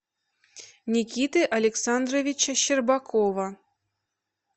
никиты александровича щербакова